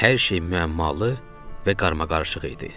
Hər şey müəmmalı və qarmaqarışıq idi.